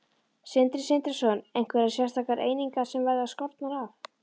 Sindri Sindrason: Einhverjar sérstakar einingar sem verða skornar af?